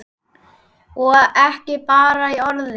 Og ekki bara í orði.